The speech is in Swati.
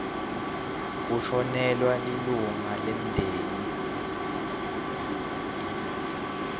kushonelwa lilunga lemndeni